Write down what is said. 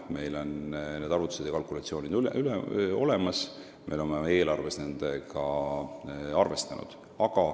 Meil on arvutused ja kalkulatsioonid olemas ning me oleme nendega eelarves arvestanud.